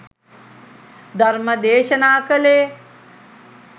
ධර්ම දේශනා කළේ.